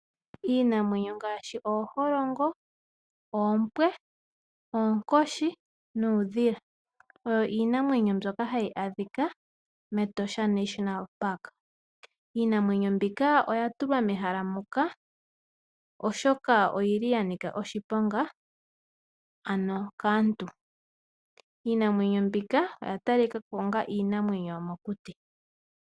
Iinamwenyo ngaashi: ooholongo, oompo, oonkoshi nuudhila oyo iinamwenyo mbyoka hayi adhika mEtosha National Park. Iinamwenyo mbika oya tulwa mehala muka, oshoka oyi li ya nika oshiponga ano kaantu. Iinamwenyo mbika oya tali ka ko onga iinamwenyo yomokuti.